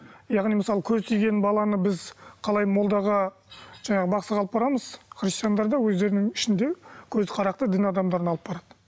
яғни мысалы көз тиген баланы біз қалай молдаға жаңа бақсыға алып барамыз христиандар да өздерінің ішінде көзі қарақты дін адамдарына алып барады